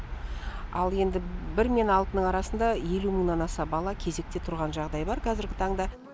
ал енді бір мен алтының арасында елу мыңнан аса бала кезекте тұрған жағдай бар қазіргі таңда